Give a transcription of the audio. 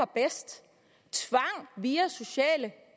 bedst tvang via sociale